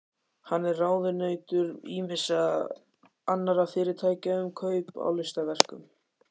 Hann er ráðunautur ýmissa annarra fyrirtækja um kaup á listaverkum.